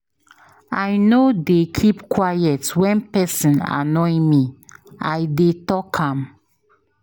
I no dey keep quiet wen pesin dey annoy me, I dey tok am.